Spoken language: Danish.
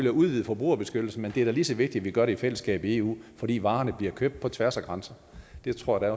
at udvide forbrugerbeskyttelsen men det er da lige så vigtigt at vi gør det i fællesskab i eu fordi varerne bliver købt på tværs af grænser det tror jeg